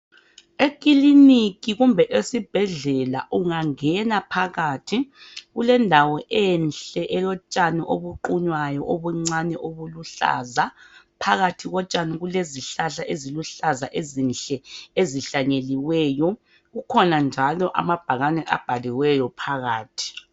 Ekiliniki kumbe esibhedlela ungangena phakathi kulendawo enhle elotshani obuqunywayo obuncane obuluhlaza phakathi kotshani kulezihlahla eziluhlaza ezinhle ezihlanyeliweyo kukhona njalo amabhakane abhaliweyo phakathi